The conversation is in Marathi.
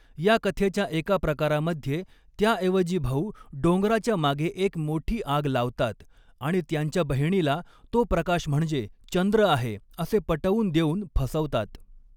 या कथेच्या एका प्रकारामध्ये त्याऐवजी भाऊ डोंगराच्या मागे एक मोठी आग लावतात आणि त्यांच्या बहिणीला तो प्रकाश म्हणजे चंद्र आहे असे पटवून देऊन फसवतात.